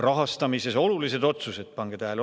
Rahastamises olulised otsused – pange tähele!